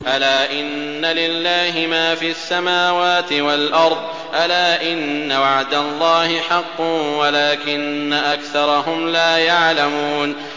أَلَا إِنَّ لِلَّهِ مَا فِي السَّمَاوَاتِ وَالْأَرْضِ ۗ أَلَا إِنَّ وَعْدَ اللَّهِ حَقٌّ وَلَٰكِنَّ أَكْثَرَهُمْ لَا يَعْلَمُونَ